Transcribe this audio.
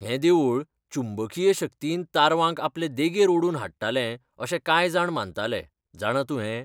हें देवूळ चुंबकीय शक्तीन तारवांक आपले देगेर ओडून हाडटाले अशें कांय जाण मानतालें, जाणा तूं हें?